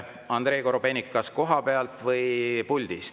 Andrei Korobeinik, kas kohapealt või puldist?